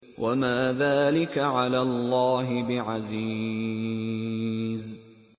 وَمَا ذَٰلِكَ عَلَى اللَّهِ بِعَزِيزٍ